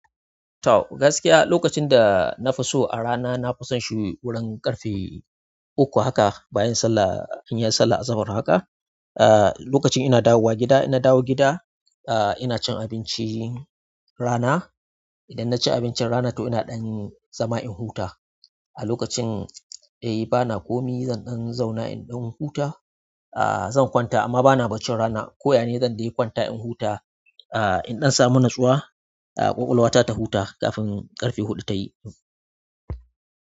To gaskiya lokacin da na fuso a rana, na fi san shi wurin ƙarfe uku haka bayan sallah, in yi sallah azahar haka. Ah, lokacin ina dawowa gida, in na dawo gida, ah, ina cin abinci rana. Idan na ci abincin rana toh ina ɗan zama in huta. A lokacin, eh, bana komi zan ɗan zauna in ɗan huta. Ah, zan kwata amma bana baccin rana. Ko ya ne zan dai kwanta in huta, ah, in ɗan samu natsuwa, ah, ƙwaƙwalwa ta ta huta kafin ƙarfe huɗu ta yi.